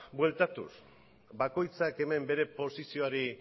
bueltatuz bakoitzak hemen bere posizioari